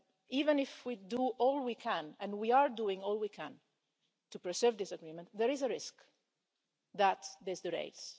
Even if we do all we can and we are doing all we can to preserve this agreement, there is a risk that this derails.